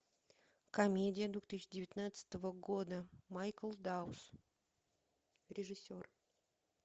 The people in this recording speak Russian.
комедия две тысячи девятнадцатого года майкл даус режиссер